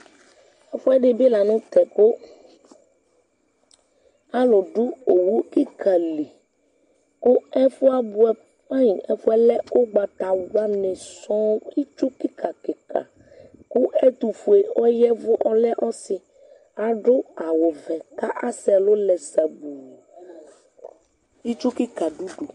ɛfuɛdi bi lantɛ kò alò do owu keka li kò ɛfuɛ abuɛ fain ɛfuɛ lɛ ugbatawla ni sɔŋ itsu keka keka kò ɛtofue ɔyavu ɔlɛ ɔse ado awu vɛ k'asɛ ɛlu lɛ sabu itsu keka do udu